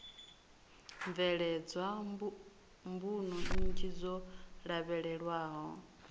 bveledzwa mbuno nnzhi dzo lavhelelwaho